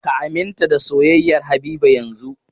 Ka aminta da soyayyar Habiba yanzun!